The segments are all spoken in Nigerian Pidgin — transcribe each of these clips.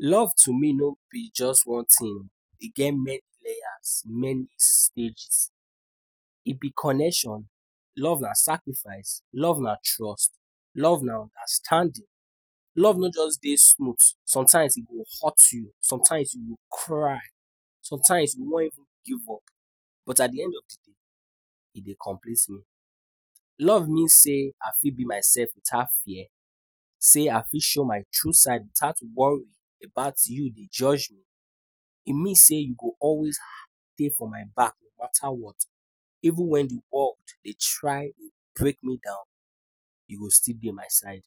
Love to me no be just one thing, e get many layers, many stages, e be connection, love na sacrifice, love na trust, love na understanding. Love nor just dey smooth, sometimes e go hurt you, sometimes you go cry, sometimes you wan even give up, but at de end of de day e dey complete me. Love means say I fit be myself without fear, sey I fit show my true side without worrying about you dey judge me, e mean sey you go always dey for my back no matter what even wen de world dey try dey brake me down, you go still dey my side.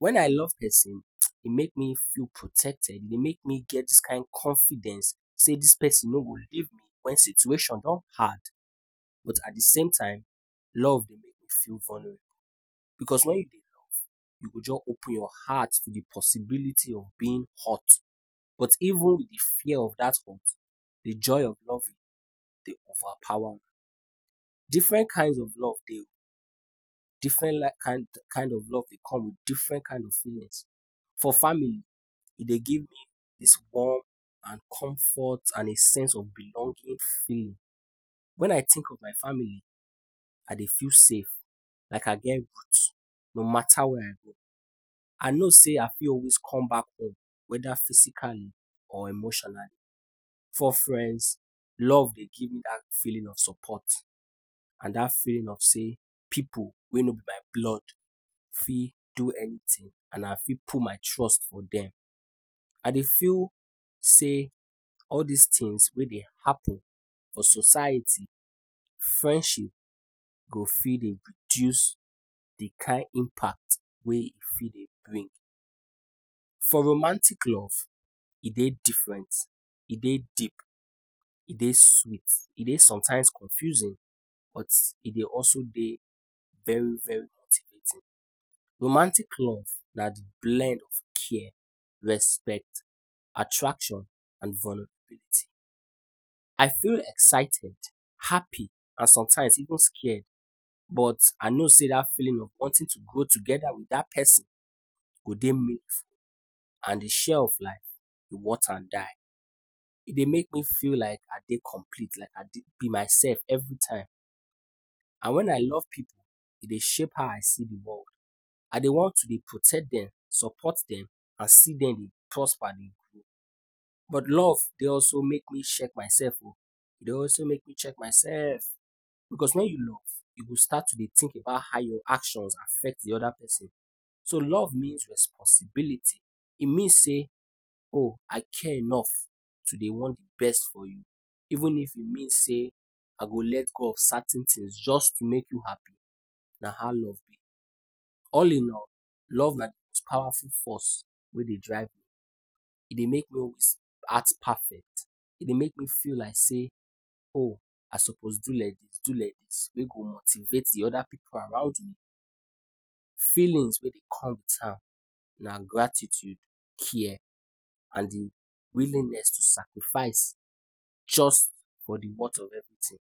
Wen I love person e dey make me feel protected, e dey make me get dis kind confidence sey dis person nor go leave me wen situation don bad, but at de sametime love dey make you feel vulnerable because wen dey you love you go just open your heart to de possibility of being hurt, but even de fear of dat hurt de joy of loving dey overpower am. Different kinds of love dey o, different li kind kind of love dey come with different kinds of feelings, for family e dey give me dis warm and comfort and a sense of belonging feeling. Wen I think of my family, I dey feel safe like I get root no matter where I go, I know sey I fit always come back home whether physically or emotionally. For friends love dey give you dat feeling of support and dat feeling of sey pipu wey nor be my blood fit do anything and I fit put my trust for dem. I dey feel sey all dis things wey dey happen for society, friendship go fit dey reduce de kain impact wey e fit dey bring. For romantic love e dey different, e dey deep, e dey sweet, e dey sometimes confusing, but e dey also dey very very motivating. Romantic love na de blend of care, respect, attraction and vulnerability. I feel excited, happy and sometimes even scared. But I know sey dat feeling of wanting to grow together with dat person go dey meaningful and de share of life e worth am die. E dey make me feel like I dey complete like I dey be myself every time. And wen I love pipu e dey shape how I see de world, I dey want to dey protect dem, support dem and see dem dey prosper dey grow. But love dey also make me check myself o, e dey also make me dey check myself, because wen you love, you go start to dey think about how your actions affect de other person. So love means responsibility, e mean say oh I care enough to dey want de best for you even if e mean sey I go let go of certain things just to make you happy, na how love be. All in all, love na de most powerful force wey dey drive, e dey make me always act perfect, e dey make me feel like say oh I suppose do like dis do like dis wey go motivate de other pipu around me. Feelings wey dey come with am na gratitude, care and de willingness to sacrifice just for de worth of everything.